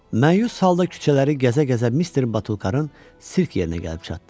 Məyus halda küçələri gəzə-gəzə Mister Batulkarın sirk yerinə gəlib çatdı.